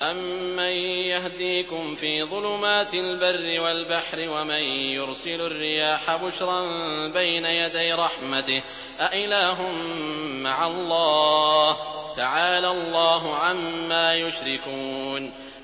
أَمَّن يَهْدِيكُمْ فِي ظُلُمَاتِ الْبَرِّ وَالْبَحْرِ وَمَن يُرْسِلُ الرِّيَاحَ بُشْرًا بَيْنَ يَدَيْ رَحْمَتِهِ ۗ أَإِلَٰهٌ مَّعَ اللَّهِ ۚ تَعَالَى اللَّهُ عَمَّا يُشْرِكُونَ